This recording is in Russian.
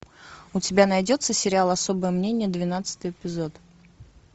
у тебя найдется сериал особое мнение двенадцатый эпизод